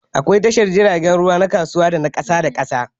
Akwai tashar jiragen ruwa na kasuwa da na ƙasa da ƙasa